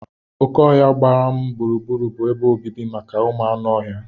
Oké ọhia gbara m gburugburu bụ ebe obibi maka anụ ọhịa.